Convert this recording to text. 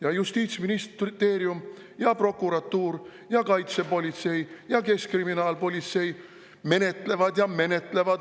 Aga justiitsministeerium, prokuratuur, kaitsepolitsei ja keskkriminaalpolitsei menetlevad ja menetlevad.